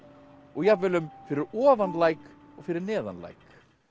og jafnvel um fyrir ofan læk og fyrir neðan læk